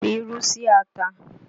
Fi irú sí ata!